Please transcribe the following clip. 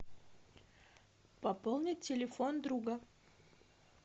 пополнить телефон друга